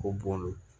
Ko bɔn de